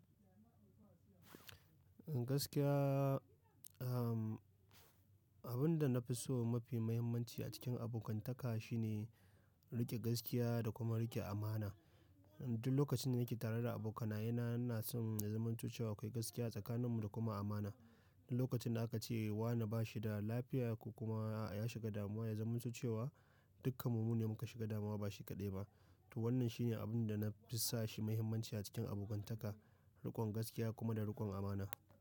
Gaskiya, am, abinda na fi so mafi muhimmanci a cikin abokantaka shine riƙe gaskiya da kuma riƙe amana. Duk lokacin da nake tare da abokanayena, ina son na zamanto cewa akwai gaskiya a tsakaninmu da kuma amana. Duk lokacin da aka ce wane bashi da lafiya ko kuma ya shiga damuwa, ya zamanto cewa dukkan mu mune muka shiga damuwa ba shi kaɗai ba. To wannan shine abin da na fi sa shi muhimmanci a cikin abokantaka, riƙon gaskiya kuma da riƙon amana.